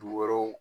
Du wɛrɛw